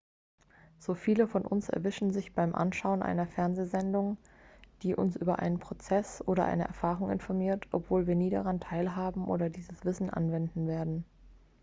so viele von uns erwischen sich beim anschauen einer fernsehsendung die uns über einen prozess oder eine erfahrung informiert obwohl wir nie daran teilhaben oder dieses wissen anwenden werden